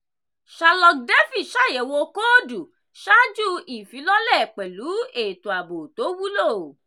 sherlock defi ṣàyẹ̀wò kóòdù ṣáájú ifílọ̀lẹ́ pẹ̀lú ètò ààbò tó wulo.